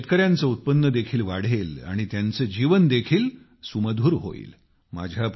यामुळे शेतकऱ्यांचे उत्पन्न देखील वाढेल आणि त्यांचे जीवन देखील सुमधुर होईल